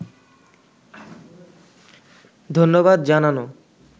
ধন্যবাদ জানানো